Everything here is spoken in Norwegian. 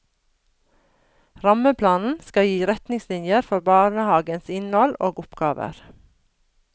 Rammeplanen skal gi retningslinjer for barnehagens innhold og oppgaver.